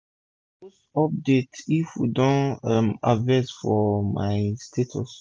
i dey post update if we don um harvest for my whatsapp status